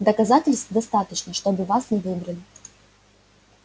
доказательств достаточно чтобы вас не выбрали